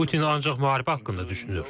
Putin ancaq müharibə haqqında düşünür.